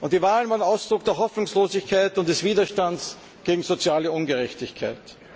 Die Wahlen waren Ausdruck der Hoffnungslosigkeit und des Widerstands gegen soziale Ungerechtigkeit.